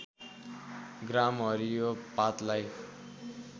ग्राम हरियो पातलाई